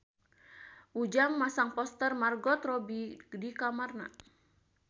Ujang masang poster Margot Robbie di kamarna